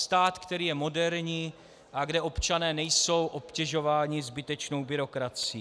Stát, který je moderní a kde občané nejsou obtěžováni zbytečnou byrokracií.